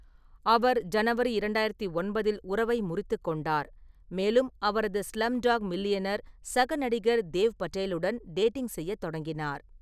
அவர் ஜனவரி இரண்டாயிரத்து ஒன்பதில் உறவை முறித்துக் கொண்டார், மேலும் அவரது ஸ்லம்டாக் மில்லியனர் சக நடிகர் தேவ் படேலுடன் டேட்டிங் செய்யத் தொடங்கினார்.